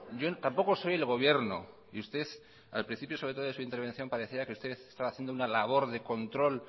yo tampoco soy el gobierno y usted al principio sobre todo de su intervención parecía que usted estaba haciendo una labor de control